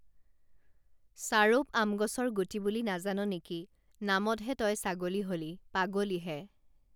চাৰৌপ আম গছৰ গুটি বুলি নাজান নেকি নামতহে তই ছাগলী হলি পাগলী হে